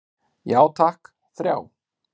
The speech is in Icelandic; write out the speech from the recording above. Já takk, þrjá.